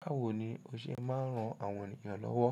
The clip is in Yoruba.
Báwo ni o ṣe máa ń ran àwọn ènìyàn lọ́wọ́?